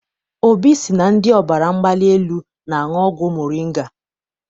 Obi sị na ndị ọbara mgbali elu na-aṅụ ọgwụ moringa.